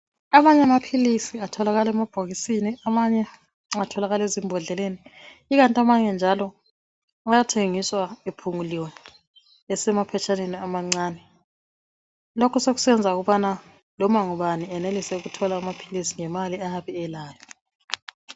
Amanye amaphilisi atholakala emabhokisini, amanye atholakala ezimbhodleleni, ikanti amanye njalo ayathengiswa ephunguliwe esemaphetshaneni amancane. Lokhu sokusenza ukubana loma ngubani enelise ukuthola amaphilisi ngemali ayabe elayo.